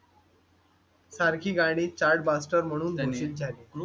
सारखी गाडी chartbaster म्हणून घोषित झाली .